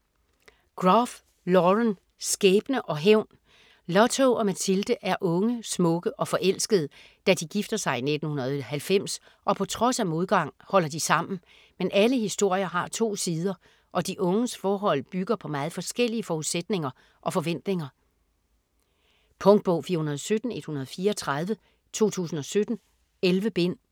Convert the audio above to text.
Groff, Lauren: Skæbne og hævn Lotto og Mathilde er unge, smukke og forelskede, da de gifter sig i 1990 og på trods af modgang holder de sammen. Men alle historier har to sider og de unges forhold bygger på meget forskellige forudsætninger og forventninger. Punktbog 417134 2017. 11 bind.